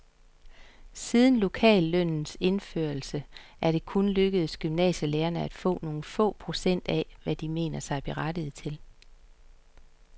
Siden lokallønnens indførelse er det kun lykkedes gymnasielærerne at få nogle få procent af, hvad de mener sig berettiget til.